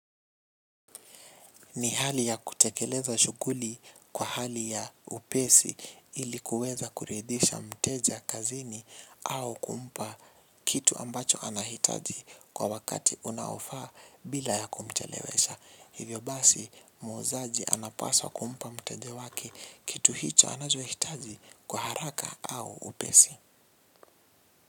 Ni hali ya kutekeleza shughuli kwa hali ya upesi ili kuweza kuridhisha mteja kazini au kumpa kitu ambacho anahitaji kwa wakati unaofaa bila ya kumchelewesha. Hivyo basi muuzaji anapaswa kumpa mteja wake kitu hicho anachohitaji kwa haraka au upesi.